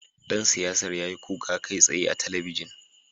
Dan siyasar ya yi kuka kai tsaye a talabijin